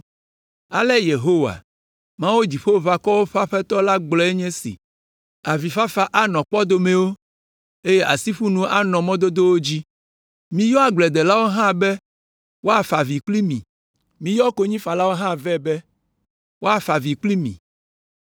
Ale Yehowa, Mawu Dziƒoʋakɔwo ƒe Aƒetɔ la gblɔe nye esi: “Avifafa anɔ kpɔdomewo, eye asiƒonu anɔ mɔ dodowo dzi. Míyɔ agbledelawo hã be woafa avi kpli mi; miyɔ konyifalawo hã vɛ be woafa avi kpli mi.